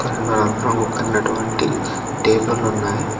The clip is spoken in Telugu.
రెండు నలుపు రంగు కలిగినటువంటి టేబుల్లున్నాయి .